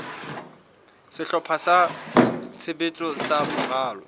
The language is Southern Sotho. sehlopha sa tshebetso sa moralo